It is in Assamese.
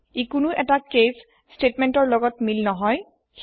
ই কোনো এটা কেচ স্টেতমেন্টৰ লগত মিল নহয়